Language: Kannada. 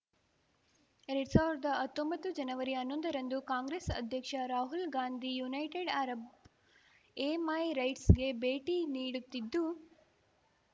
ಎರ್ಡ್ ಸಾವ್ರ್ದಾ ಹತ್ತೊಂಬತ್ತು ಜನವರಿ ಹನ್ನೊಂದರಂದು ಕಾಂಗ್ರೆಸ್‌ ಅಧ್ಯಕ್ಷ ರಾಹುಲ್‌ ಗಾಂಧಿ ಯುನೈಟೆಡ್‌ ಅರಬ್‌ ಎಮೈರೈಟ್ಸ್‌ಗೆ ಭೇಟಿ ನೀಡುತ್ತಿದ್ದು